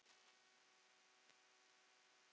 Mér líkar við